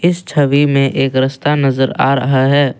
छवि में एक रास्ता नजर आ रहा है।